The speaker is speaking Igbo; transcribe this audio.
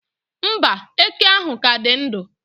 mba, eke ahụ ka dị ndụ